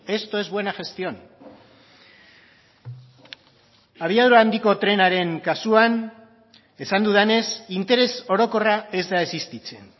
esto es buena gestión abiadura handiko trenaren kasuan esan dudanez interes orokorra ez da existitzen